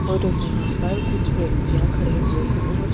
और वहां पर कुछ व्यक्तियां खड़े हुए हैं और--